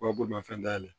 Wa bolimafɛn dayɛlɛ